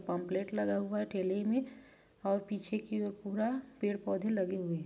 Pamphlet लगा हुआ है ठेले में और पीछे की और पूरा पेड़ पौधे लगे हुए हैं।